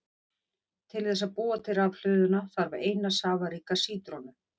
Til þess að búa til rafhlöðuna þarf eina safaríka sítrónu.